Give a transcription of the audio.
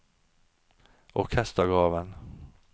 orkestergraven